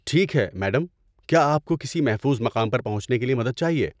ٹھیک ہے، میڈم، کیا آپ کو کسی محفوظ مقام پر پہنچنے کے لیے مدد چاہیے۔